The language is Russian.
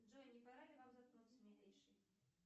джой не пора ли вам заткнуться милейший